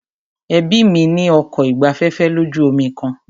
Ẹbí mí ní ọkọ̀ ìgbafẹ́fẹ́ lójú omi kan.